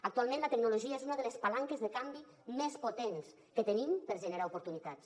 actualment la tecnologia és una de les palanques de canvi més potents que tenim per generar oportunitats